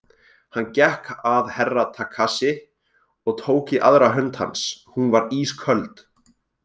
Hann gekk að Herra Takashi og tók í aðra hönd hans, hún var ísköld.